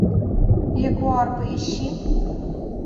ягуар поищи